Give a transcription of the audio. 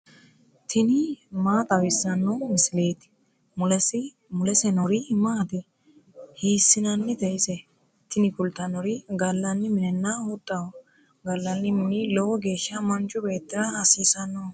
tini maa xawissanno misileeti ? mulese noori maati ? hiissinannite ise ? tini kultannori gallanni minenna huxxaho. gallanni mini lowo geeshsha manchu beettira hasiissannoho.